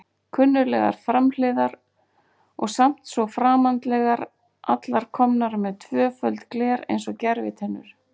Kunnuglegar framhliðar og samt svo framandlegar, allar komnar með tvöföld gler eins og gervitennur.